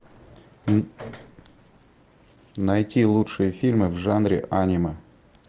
найти лучшие фильмы в жанре аниме